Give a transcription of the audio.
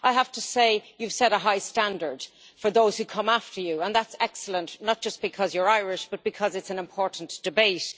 I have to say you have set a high standard for those who come after you, and that is excellent, not just because you are Irish but because it is an important debate.